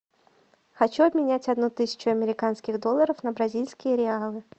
хочу обменять одну тысячу американских долларов на бразильские реалы